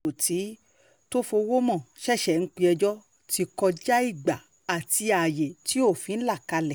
tí tofowómọ ṣẹ̀ṣẹ̀ ń péjọ ti kọjá ìgbà àti ààyè tí òfin là kalẹ̀